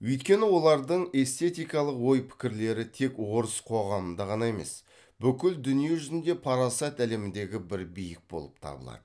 өйткені олардың эстетикалық ой пікірлері тек орыс қоғамында ғана емес бүкіл дүние жүзінде парасат әлеміндегі бір биік болып табылады